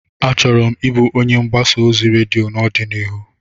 Achọrọ m ịbụ onye mgbasa ozi redio n'ọdịnihu.